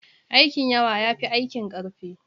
Aikin yawa ya fi aikin ƙarfi.